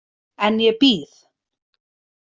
En ég bíð.